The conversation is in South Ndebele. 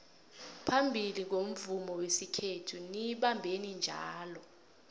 phambili ngomvumo wesikhethu niyibambeni njalo